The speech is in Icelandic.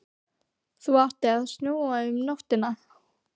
Það átti að snjóa um nóttina.